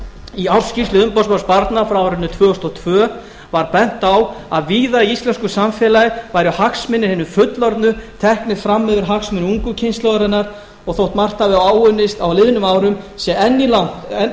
í ársskýrslu umboðsmanns barna frá árinu tvö þúsund og tvö var bent á að víða í íslenskusamfélagi væru hagsmunir hinna fullorðnu teknir fram yfir hagsmuni ungu kynslóðarinnar og þó margt hafi áunnist á liðnum árum sé enn langt